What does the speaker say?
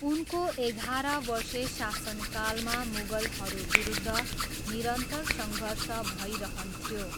उनको एघार वर्षे शासनकालमा मुगलहरूविरुद्ध निरन्तर सङ्घर्ष भइरहन्थ्यो।